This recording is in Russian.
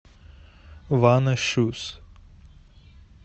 ванна шуз